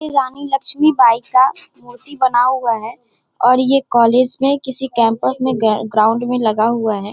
इ रानी लक्ष्मी बाई का मूर्ति बना हुआ है और ये कॉलेज मे किसी कैंपस में ग ग्राउंड में लगा हुआ है।